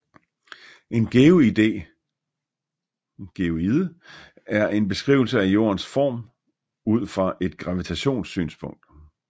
En geoide er en beskrivelse af Jordens form ud fra et gravitations synspunkt